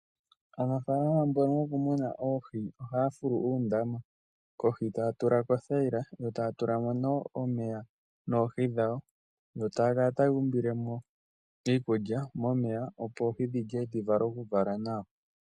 Aanafaalama mbono yoku muna oohi ohaya fulu uundama, kohi taya tula ko othaila yo taya tula mo nee omeya noohi dhawo, yo taya kala taya umbile mo iikulya, opo oohi dhilye dhi vule oku vala nawa.